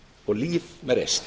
og líf með reisn